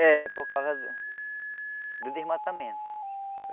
É, por causa do desmatamento.